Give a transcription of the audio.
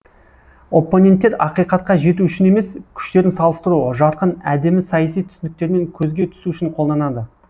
оппоненттер ақиқатқа жету үшін емес күштерін салыстыру жарқын әдемі саяси түсініктермен көзге түсу үшін қолданады